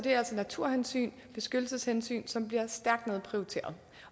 naturhensyn og beskyttelseshensyn som bliver stærkt nedprioriteret